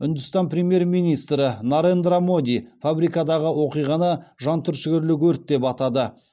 үндістан премьер министрі нарендра моди фабрикадағы оқиғаны жан түршігерлік өрт деп атады